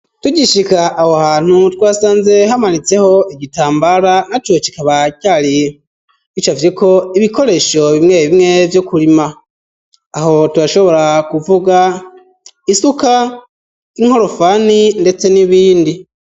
Tugishika aho hantu twasanze hamanitseho igitambara naco kikaba cari bicavye ko ibikoresho bimwe bimwe vyo kurima aho turashobora kuvuga isuka, inkorofani ndetse n'ibindi.